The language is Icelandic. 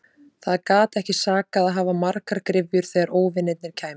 Það gat ekki sakað að hafa margar gryfjur þegar óvinirnir kæmu.